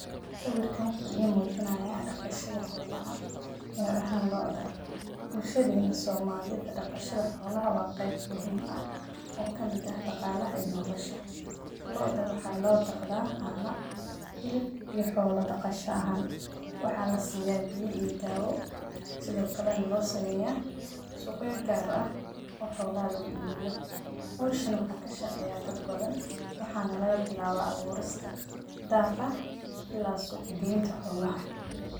Sawirkan wuxuu imoojiyaan dhaqashada xoolaha ka ahan looda. Bulshadeena somalida dhaqashada xoolaha waa qeyb muhiim ah oo ka mida dhaqaalaha iyo noolasha. Looda waxaa loo dhaqdhaa caano hiilb iyo xoolo dhaqasha ahaan. Waxaa la siiyaa biyo iyo daawo sidoo kale loo sameya suuq gaar ah oo xoolaha lagu iibiyo. Hawshana waxaa ka shaqeeya dad badan waxaana laga bilaabaa abuurista, daaqah ilaa suuq gaynta xoolaha.